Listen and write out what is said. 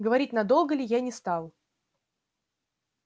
говорить надолго ли я не стал